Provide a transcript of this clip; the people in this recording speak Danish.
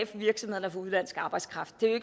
for virksomhederne at få udenlandsk arbejdskraft det er jo